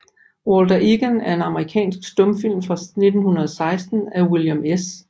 Walter Egan er en amerikansk stumfilm fra 1916 af William S